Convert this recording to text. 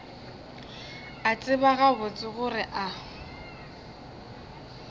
a tseba gabotse gore a